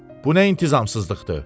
Bu nə intizamsızlıqdır?